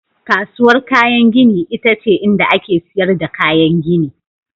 Kasuwar kayan gini ita ce inda ake sayar da kayan gini.